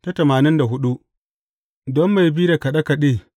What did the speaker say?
Don mai bi da kaɗe kaɗe.